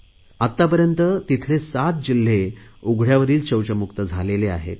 आतापर्यंत तेथील 7 जिल्हे उघडयावरील शौचमुक्त झाले आहेत